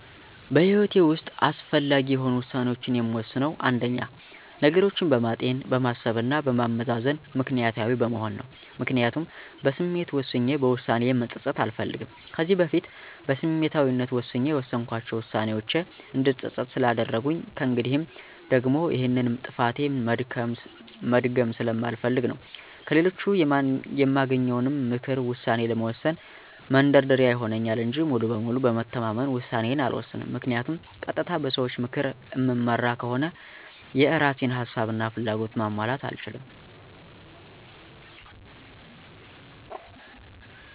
በህይወቴ ውሰጥ አስፈላጊ የሆኑ ውሳኔዎችን የምወስነው አንደኛ፦ ነገሮችን በማጤን፣ በማሰብ እና በማመዛዘን ምክኒያታዊ በመሆን ነው። ምክንያቱም በስሜት ወስኜ በውሳኔዬ መፀፀት አልፈልግም። ከዚህ በፊት በስሜታዊነት ሆኜ የወሰንኳቸው ዉሳኔዎቼ እንድፀፀት ስላደረጉኝ ከእንግዲህም ደግሞ ይሄንን ጥፋቴ መድገም ስለማልፈልግ ነው። ከሌሎች የማገኘውንም ምክር ውሳኔ ለመወሰን መንደርደሪያ ይሆንልኛል እንጂ ሙሉ በሙሉ በመተማመን ውሳኔዬን አልወሰንም ምክንያቱም ቀጥታ በሰዎች ምክር እምመራ ከሆነ የእራሴን ሀሳብ እና ፍላጎት ማሟላት አልችልም።